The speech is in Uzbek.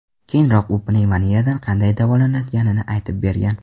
Keyinroq u pnevmoniyadan qanday davolanayotganini aytib bergan .